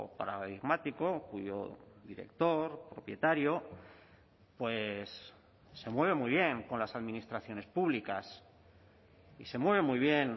paradigmático cuyo director propietario pues se mueve muy bien con las administraciones públicas y se mueve muy bien